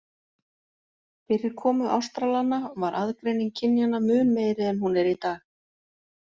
Fyrir komu Ástralanna var aðgreining kynjanna mun meiri en hún er í dag.